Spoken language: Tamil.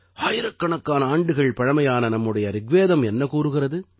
ஆயிரக்கணக்கான ஆண்டுகள் பழைமையான நம்முடைய ரிக்வேதம் என்ன கூறுகிறது